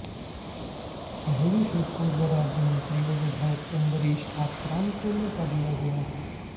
अहेरी से पूर्व राज्यमंत्री व विधायक अंबरीश आत्राम को मौका दिया गया है